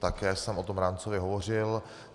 Také jsem o tom rámcově hovořil.